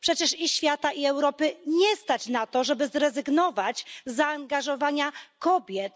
Przecież i świata, i Europy nie stać na to, żeby zrezygnować z zaangażowania kobiet.